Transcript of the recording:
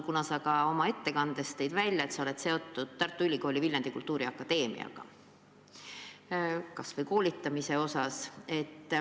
Sa märkisid oma ettekandes, et sa oled seotud Tartu Ülikooli Viljandi Kultuuriakadeemiaga, seda just koolitamise osas.